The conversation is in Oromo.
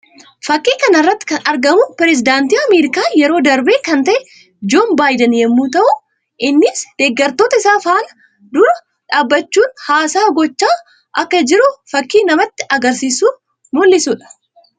Fakkii kana irratti kan argamu pirezidaantii Ameerikaa yeroo darbee kan ta'e Joon Baayiden yammuu ta'u; innis deggertoota isaa fuula dura dhaabbachuun haasaa gochaa akka jiru fakkii namatti agarsiisuu mul'isuu dha.